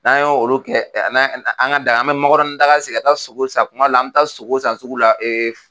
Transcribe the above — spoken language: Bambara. N'an y' olu kɛ an ka dan an be makɔrɔni daga sigi ka taa sogo san .Kuma dɔ la an be taa sogo san sugu la ee